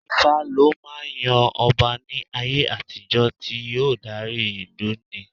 Ifá lọ máa ń yan ọba ní ayé àtijó tí yóò dárí ìlú ní.